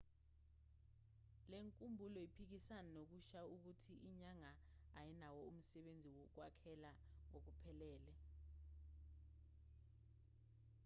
lenkumbulo iphikisana nokusho ukuthi inyanga ayinawo umsebenzi wokwakhekha ngokuphelele